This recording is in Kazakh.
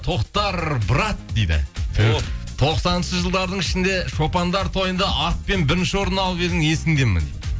тоқтар брат дейді тоқсаныншы жылдардың ішінде шопандар тойында атпен бірінші орын алып едің есіңде ме дейді